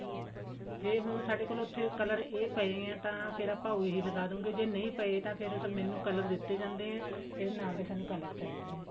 ਜੇ ਹੁਣ ਸਾਡੇ ਉੱਥੇ ਇਹ color ਪਾਏ ਆਂ ਤਾਂ ਫ਼ੇਰ ਆਪਾਂ ਉਹੀ ਲਗਾ ਦਵਾਂਗੇ ਜੇ ਨਹੀ ਪਾਏ ਤਾਂ ਫ਼ੇਰ ਮੈਨੂੰ color ਦਿੱਤੇ ਜਾਂਦੇ ਆ ਇਹਦੇ ਨਾਲ ਦੇ ਸਾਨੂੰ color ਚਾਹੀਦੇ ਨੇ